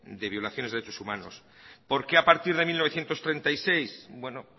de violaciones de derechos humanos por qué a partir de mil novecientos treinta y seis bueno